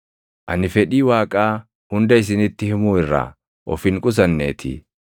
Ani fedhii Waaqaa hunda isinitti himuu irraa of hin qusanneetii.